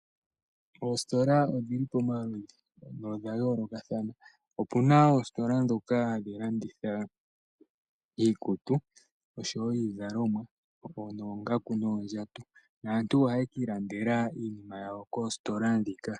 Oositola odhili pamaludhi opuna ndhoka hadhi landitha oongaku noondjato naantu ohaye kiilandeka iinima yawo koositola ndhika.